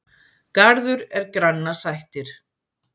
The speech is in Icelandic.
Garður er granna sættir.